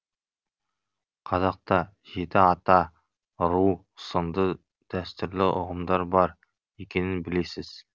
қазақта жеті ата ру сынды дәстүрлі ұғымдар бар екенін білесіз